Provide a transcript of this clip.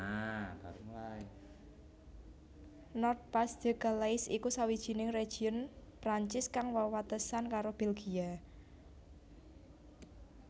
Nord Pas de Calais iku sawijining région Prancis kang wewatesan karo Belgia